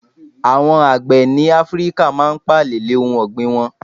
Àwon àgbẹ̀ ní Áfíríkà máa n pààlè lè ohun ọ̀gbìn won